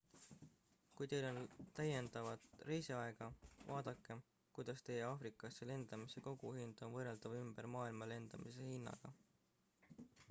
kui teil on täiendavat reisiaega vaadake kuidas teie aafrikasse lendamise koguhind on võrreldav ümber maailma lendamise hinnaga